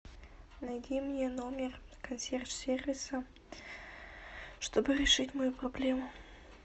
найди мне номер консьерж сервиса чтобы решить мою проблему